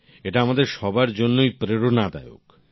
এটা আমাদের সবার জন্যই প্রেরণাদায়ক